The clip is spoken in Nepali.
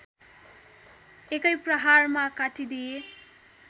एकै प्रहारमा काटिदिए